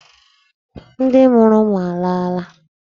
Ndị mụrụ ụmụ alaala?